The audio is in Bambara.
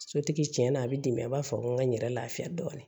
Sotigi tiɲɛna a bɛ dɛmɛ a b'a fɔ n ka n yɛrɛ lafiya dɔɔnin